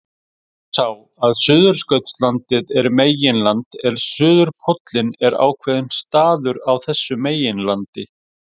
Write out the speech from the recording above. Munurinn er sá að Suðurskautslandið er meginland en suðurpóllinn einn ákveðinn staður á þessu meginlandi.